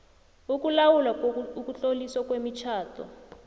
ukulawula ukutloliswa kwemitjhado